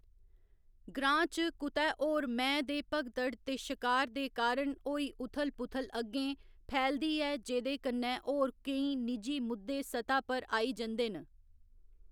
ग्रांऽ च कुतै होर मैंह्‌‌ दे भगदड़ ते शकार दे कारण होई उथल पुथल अग्गें फैलदी ऐ जेह्‌‌‌दे कन्ने होर केई निजी मुद्दे सतह् पर आई जंदे न।